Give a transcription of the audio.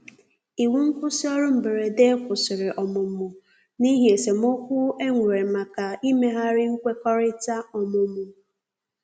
iwu nkwusi orụ mgberede kwụsìrì ọmụmụ n'ihi esemeokwụ enwere maka imeghari nkwekọrịta ọmụmụ